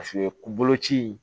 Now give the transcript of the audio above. Paseke koloci